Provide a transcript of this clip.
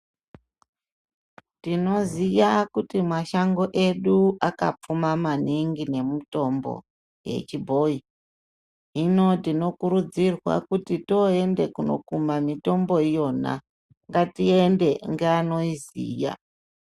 Tinoziya kuti mashango edu akapfuma maningi nemitombo yechibhoyi ,hino tinokurudzirwa kuti toende kuno kuma mitombo iyo na, ngatiende ngevanoyiziya.